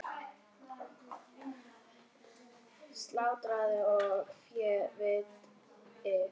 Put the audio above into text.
Slátrað og féð vigtað.